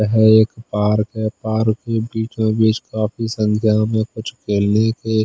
यह एक पार्क है पार्क के बीचो बीच काफी संख्या में कुछ के--